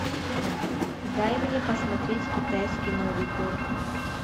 дай мне посмотреть китайский новый год